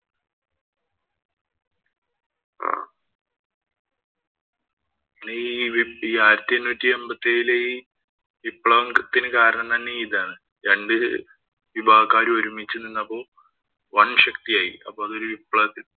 പിന്നെ ആയിരത്തി എണ്ണൂറ്റി അമ്പത്തിയേഴിലെ ഈ വിപ്ലവത്തിന് തന്നെ കാരണം ഇതാണ്. രണ്ടു വിഭാഗക്കാര് ഒന്നിച്ചു നിന്നപ്പോ വന്‍ശക്തിയായി. അപ്പൊ അത് ഒരു വിപ്ലവത്തിന്